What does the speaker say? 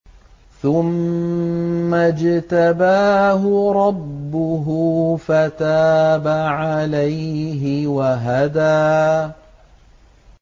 ثُمَّ اجْتَبَاهُ رَبُّهُ فَتَابَ عَلَيْهِ وَهَدَىٰ